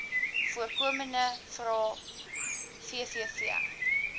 voorkomende vrae vvv